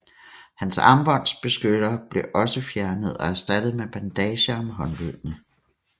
Hans armbånds beskyttere blev også fjernet og erstattet med bandager om håndledene